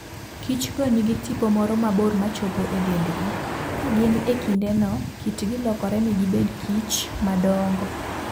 Kich go nigi tipo moro mabor machopo e dendgi. Ka gin e kindeno, kitgi lokore mi gibedkich madongo.